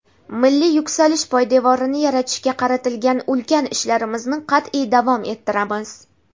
milliy yuksalish poydevorini yaratishga qaratilgan ulkan ishlarimizni qat’iy davom ettiramiz.